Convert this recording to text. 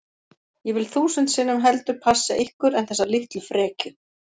Ég vil þúsund sinnum heldur passa ykkur en þessa litlu frekju